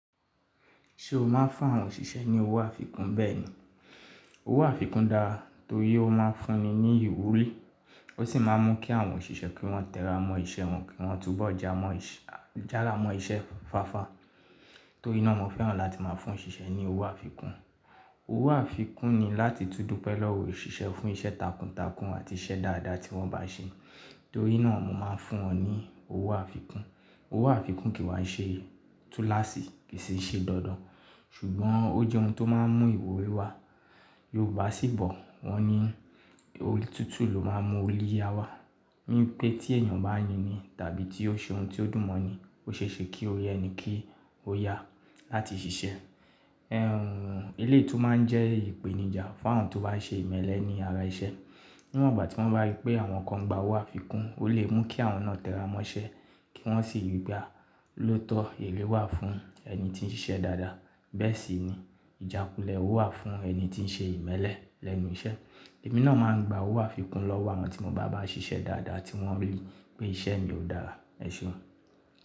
Ṣé o máa ń fún àwọn òṣìṣẹ́ ní owó àfikún bẹ́ẹ̀ni. Owó àfikún dáa tórí ó máa ń fúnni ní ìwúrí, ó sì máa ń mú kí àwọn òṣìṣẹ́ kí wọ́n tẹ́ra mọ́ iṣẹ́ wọn kí wọ́n tún bọ́ jára mọ́n iṣẹ́ fáfa. Tóri naa mọ́ fẹ́ràn láti máa fún òṣìṣẹ́ ní owó àfikún. Owó àfikún ni láti tún dupe lòwò òṣìṣẹ́ fún iṣẹ́ takuntakun àti iṣẹ́ dáadáa tí wọ́n bá ṣe. Torí náà mo máa ń fún wọn ní owó àfikún. Owó àfikún kì wa ṣe túnláṣì, kì í ṣe dandan ṣùgbọ́n ó jẹ́ ohun tó máa ń mú ìwúrí wá. Yorùbá sì bọ́, wọn ni orí tútù ló máa ń mú olíyá wá. Ni pé tí èèyàn bá yini tàbí tí ó ṣe ohun tí ó dùn mọ́ ni, ó ṣe é ṣe kí ó yẹni kí ó yá láti ṣiṣẹ́. Ẹ̀hn, eléétú máa ń jẹ́ ìpèníjà fún àwọn tó bá ṣe ìmẹ́lẹ́ ní ara iṣẹ́. Níwọ̀n ìgbà tí wọ́n bá rí pé àwọn kan gba owó àfikún, ó lè mú kí àwọn náà tẹ́ra mọ́ iṣẹ́ kí wọ́n sì rí pe a lóòótọ́ èré wà fún ẹni tí ń ṣiṣẹ́ dáadáa. Bẹ́ẹ̀ sì ni ìjákulẹ̀ owó wà fún ẹni tí ń ṣe ìmẹ́lẹ́ lẹ́nu iṣẹ́. Èmi náà máa ń gba owó àfikún lọ́wọ́ àwọn tí mo bá bá ṣiṣẹ́ dáadáa tí wọ́n rí pé iṣẹ́ mi ò dára. Ẹ̀ṣeùn.